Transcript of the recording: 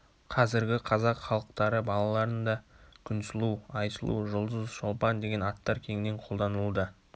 қазіргі қазақ халықтары балаларында күнсұлу айсұлу жұлдыз шолпан деген аттар кеңінен колданылуда